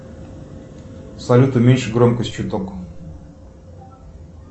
салют уменьши громкость чуток